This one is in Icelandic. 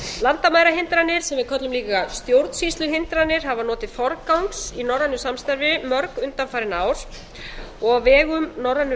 landamærahindranir sem við köllum líka stjórnsýsluhindranir hafa notið forgangs í norrænu samstarfi mörg undanfarin ár og á vegum norrænu